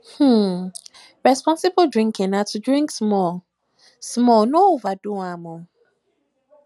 um responsible drinking na to drink small um small no overdo am